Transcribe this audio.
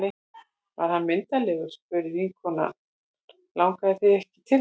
Var hann myndarlegur? spurði vinkona hennar Langaði þig ekki til þess?